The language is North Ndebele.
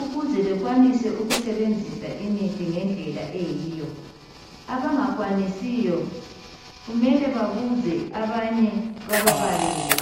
ukuze bekwanise ukusebenzisa imithi ngendlela eyiyo abangakwanisiyo kumele babuze abanye bababalele